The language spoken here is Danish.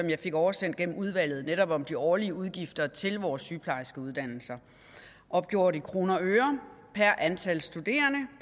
jeg fik oversendt gennem udvalget altså netop om de årlige udgifter til vores sygeplejerskeuddannelser opgjort i kroner og øre per antal studerende